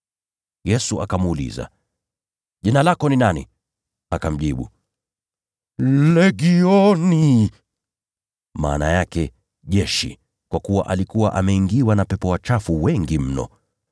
Yesu akamuuliza, “Jina lako ni nani?” Akamjibu, “Legioni,” kwa kuwa alikuwa ameingiwa na pepo wachafu wengi mno.